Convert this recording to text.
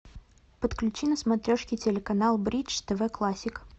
подключи на смотрешке телеканал бридж тв классик